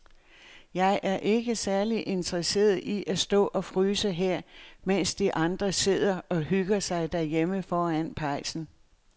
Jeg er ikke særlig interesseret i at stå og fryse her, mens de andre sidder og hygger sig derhjemme foran pejsen.